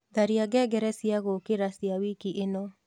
tharĩa ngengere cĩa gũũkĩra cĩa wĩkĩ ino